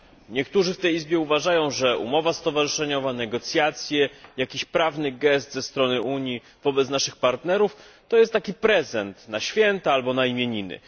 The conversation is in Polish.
Niektórzy w tej izbie uważają, że umowa stowarzyszeniowa, negocjacje, jakiś prawny gest ze strony Unii wobec naszych partnerów to taki prezent na święta albo imieniny.